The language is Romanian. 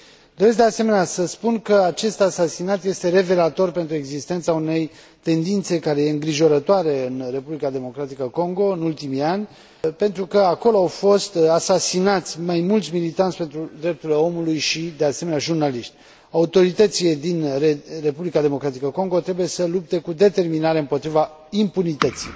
Doresc, de asemenea, să spun că acest asasinat este revelator pentru existența unei tendințe, care este îngrijorătoare în Republica Democratică Congo în ultimii ani, pentru că acolo au fost asasinați mai mulți militanți pentru drepturile omului și, de asemenea, jurnaliști. Autoritățile din Republica Democratică Congo trebuie să lupte cu determinare împotriva impunității.